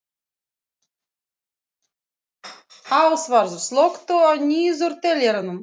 Ásvarður, slökktu á niðurteljaranum.